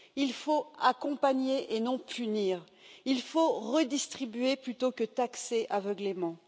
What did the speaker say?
Il faut accompagner et non punir, il faut redistribuer plutôt que taxer aveuglément.